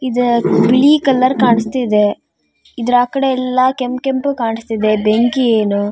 ಇದೆ ಬಿಳಿ ಕಲರ್ ಕಾಣಿಸ್ತಿದೆ ಇದರ ಆ ಕಡೆ ಎಲ್ಲ ಕೆಂಪ್ ಕೆಂಪು ಕಾಣಿಸ್ತಿದೆ ಬೆಂಕಿ ಏನೋ --